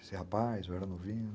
Esse rapaz, eu era novinho.